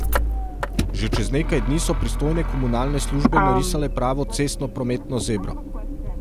Že čez nekaj dni so pristojne komunalne službe narisale pravo cestnoprometno zebro.